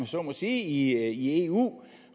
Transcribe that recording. så må sige i eu